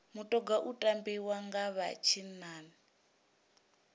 mutoga u tambiwa nga vha tshinnani